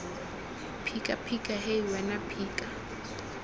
phika phika hei wena phika